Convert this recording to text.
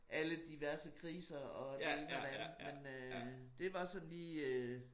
Alle diverse kriser og det ene og det andet men øh det var sådan lige øh